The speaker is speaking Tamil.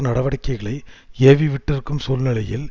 நடவடிக்கைகளை ஏவி விட்டிருக்கும் சூழ்நிலையில்